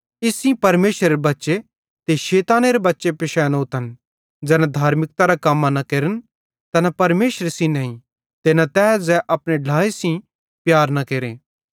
इस्से सेइं परमेशरेरे बच्चे ते शैतानेरे बच्चे पिशैनोतन ज़ैना धार्मिकता कम्मां न केरन तैना परमेशरे सेइं नईं ते न तै ज़ै अपने ढ्लाए सेइं प्यार न केरे